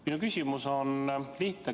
Minu küsimus on lihtne.